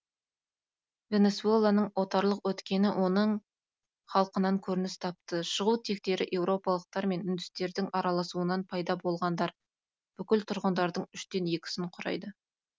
венесуэланың отарлық өткені оның халқынан көрініс тапты шығу тектері еуропалықтар мен үндістердің араласуынан пайда болғандар бүкіл тұрғындардың үштен екісін құрайды